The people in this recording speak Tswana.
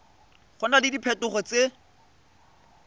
go na le diphetogo tse